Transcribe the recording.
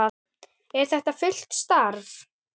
Er þetta fullt starf?